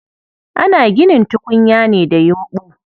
Ana ginin tukunya ne da yumɓu.